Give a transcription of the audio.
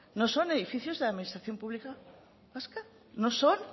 no son edificios de la administración pública vasca no son